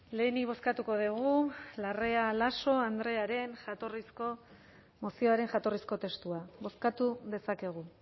lehenik bozkatuko dugu larrea laso andrearen jatorrizko mozioaren jatorrizko testua bozkatu dezakegu